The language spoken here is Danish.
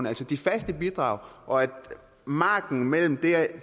altså de faste bidrag og margenen mellem